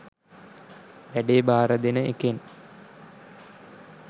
වැඩේ බාර දෙන එකෙන්